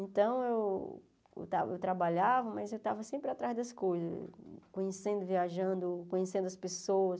Então, eu trabalhava, mas eu estava sempre atrás das coisas, conhecendo, viajando, conhecendo as pessoas.